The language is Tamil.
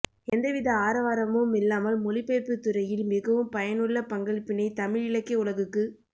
எந்தவித ஆரவாரமுமில்லாமல் மொழிபெயர்ப்புத் துறையில் மிகவும் பயனுள்ள பங்களிப்பினைத் தமிழ் இலக்கிய உலகுக்கு